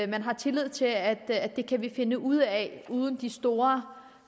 men har tillid til at at det kan vi finde ud af uden de store